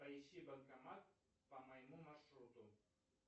поищи банкомат по моему маршруту